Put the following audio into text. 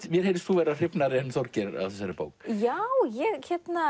mér heyrist þú vera hrifnari en Þorgeir af þessari bók já ég